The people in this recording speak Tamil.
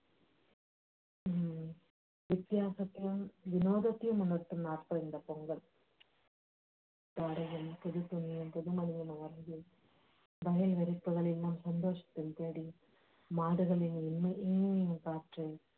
வித்தியாசத்தையும் வினோதத்தையும் இந்த பொங்கல் மாடுகளின் இன்னுயிர் காத்து